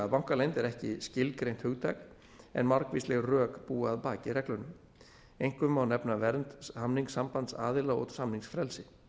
bankaleynd er ekki skilgreint hugtak en margvísleg rök búa að baki reglunum einkum má nefna vernd samningssambands aðila og samningsfrelsi